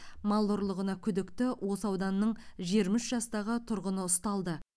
мал ұрлығына күдікті осы ауданның жиырма үш жастағы тұрғыны ұсталды